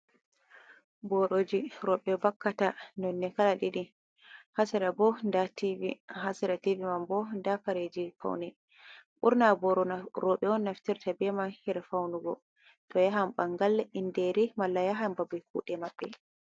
Boroji roɓe vakkata nonde kala ɗiɗi. Ha sera bo nda tivi, ha sera tivi man bo nda kareji faune. Ɓurna boro roɓe on naftirta be man her faunugo to yahan ɓangal, inderi, malla yahan babal kuɗe maɓɓe.